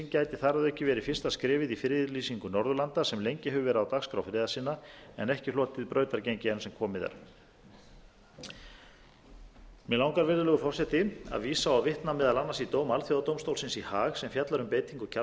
gæti þar að auki verið fyrsta skrefið í friðlýsingu norðurlanda sem lengi hefur verið á dagskrá friðarsinna en ekki hlotið brautargengi enn sem komið er mig langar virðulegur forseti að vísa og vitna meðal annars í dóm alþjóðadómstólsins í haag sem fjallar um beitingu kjarnorkuvopna